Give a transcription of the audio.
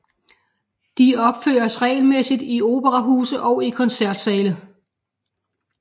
De opføres regelmæssigt i operahuse og i koncertsale